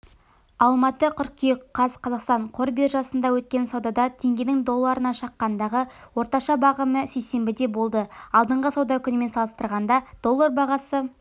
алматы қыркүйек қаз қазақстан қор биржасында өткен саудада теңгенің долларына шаққандағы орташа бағамы сейсенбіде болды алдыңғы сауда күнімен салыстырғанда доллар бағасы